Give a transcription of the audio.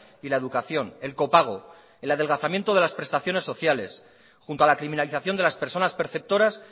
y la educación el copago el adelgazamiento de las prestaciones sociales junto a la criminalización de las personas perceptoras